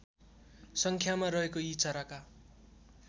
सङ्ख्यामा रहेको यी चराका